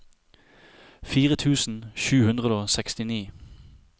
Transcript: fire tusen sju hundre og sekstini